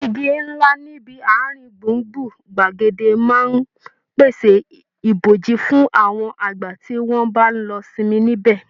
Igi ńlá níbi àárín gbùngbùn gbàgede máa ń pèsè ìbòji fún àwọn àgbà tí wọ́n bá lọ sinmi níbẹ̀